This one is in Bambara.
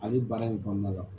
Ani baara in kɔnɔna la